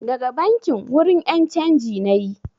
Daga bankin, wurin ƴan canji nayi